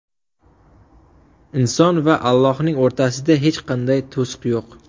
Inson va Allohning o‘rtasida hech qanday to‘siq yo‘q.